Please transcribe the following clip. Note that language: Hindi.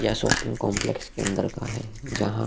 या शॉपिंग कॉम्प्लेक्स के अंदर का है जहाँ --